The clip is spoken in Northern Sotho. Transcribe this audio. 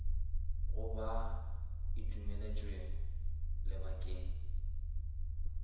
go ba e dumeletšwe lebakeng